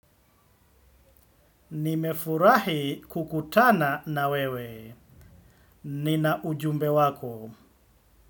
Nimefurahi kukutana na wewe. Nina ujumbe wako.